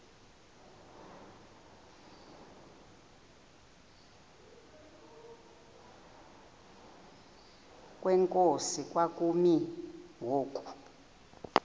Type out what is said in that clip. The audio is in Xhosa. kwenkosi kwakumi ngoku